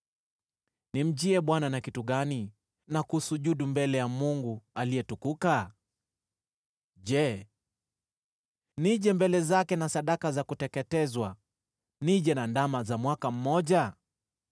Nimjie Bwana na kitu gani na kusujudu mbele za Mungu aliyetukuka? Je, nije mbele zake na sadaka za kuteketezwa, nije na ndama za mwaka mmoja?